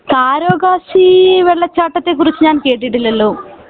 കാരോ കാസി വെള്ളച്ചാട്ടത്തെ കുറിച്ച് ഞാൻ കേട്ടിട്ടില്ലലോ